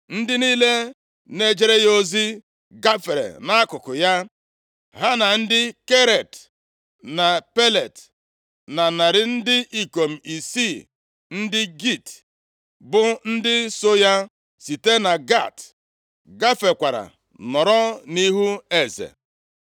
Ndị niile na-ejere ya ozi, gafere nʼakụkụ ya, ha na ndị Keret na Pelet, na narị ndị ikom isii ndị Git, bụ ndị so ya site na Gat, gafekwara nọrọ nʼihu eze.